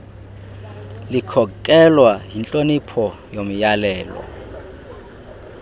likhokelwa yintlonipho yomyalelo